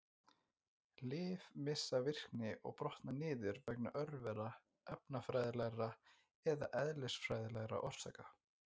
Lyf missa virkni og brotna niður vegna örvera, efnafræðilegra eða eðlisfræðilegra orsaka.